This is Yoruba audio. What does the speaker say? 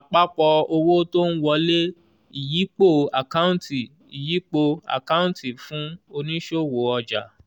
àpapọ̀ owó tó ń wọlé ìyípo àkáǹtì ìyípo àkáǹtì fún onísòwò ọjà